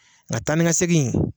Nka taani ka segin.